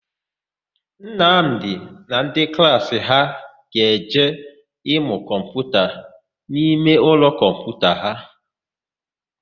Nnamdị na ndị klaasị ya ga-eje ịmụ kọmputa n'imeụlọ kọmputa ha.